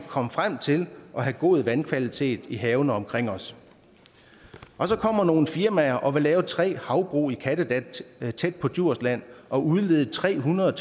komme frem til at have god vandkvalitet i havene omkring os og så kommer der nogle firmaer og vil lave tre havbrug i kattegat tæt på djursland og udlede tre hundrede